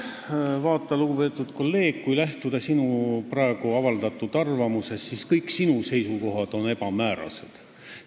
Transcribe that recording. Vaata, lugupeetud kolleeg, kui lähtuda sinu praegu avaldatud arvamusest, siis tuleb öelda, et kõik sinu seisukohad on ebamäärased.